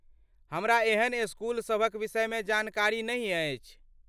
हमरा एहन स्कूल सभक विषयमे जानकारी नहि अछि ।